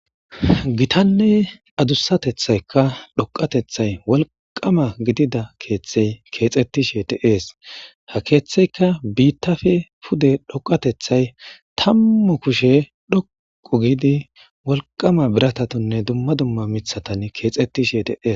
Gitanne adussatethaykka dhoqatethay wolqama gidida keeththey keexettishe te ees ha keeththeyka biittafe pude dhoqatethay tammu kushe dhoqu giidi wolqama biratatonne dumma dumma mithatan keexettishe teees.